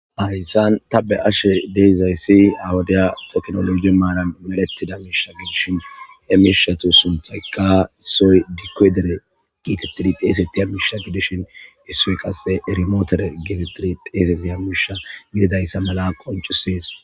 hayssan ta be ashe deiizayssi awudiya teknoloji maaran merettida miisha gidishin he mishatu sunthaykka soy dikkoy dere giitettidi teesettiya miisha gidishin issu qasse erimootere gefetidi teeffiya misha gididayssa mala qoncusies